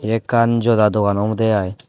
yeekkan jodda dogan obode aai.